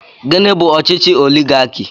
Gịnị bú ọchịchị oligarki?